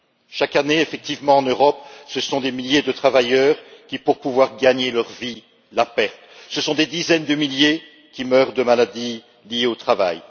Effectivement, chaque année en Europe, ce sont des milliers de travailleurs qui, pour pouvoir gagner leur vie, la perdent, ce sont des dizaines de milliers qui meurent de maladies liées au travail.